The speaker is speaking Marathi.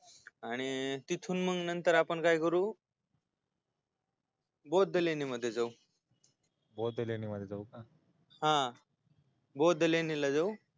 आणि तिथून नंतर आपण काय करू बौद्ध लेण्यामधी जाऊ बौद्ध लेण्यामधी जाऊ का हा बौद्ध लेण्याला जाऊ